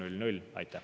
Aitäh!